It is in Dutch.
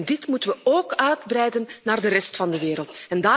Dit moeten we ook uitbreiden naar de rest van de wereld.